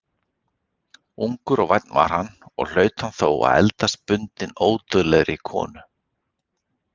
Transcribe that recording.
Ungur og vænn var hann, og hlaut hann þó að eldast bundinn ódauðlegri konu.